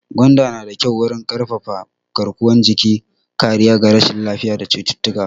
Gwanda na da kyau wurin ƙarfafa garkuwan jiki, kariya ga rashin lafiya da cututtuka.